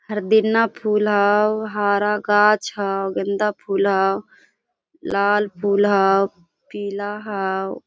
हरदिना फूल हव हरा गाछ हव गेंदा फूल हव लाल फूल हव पीला हाव।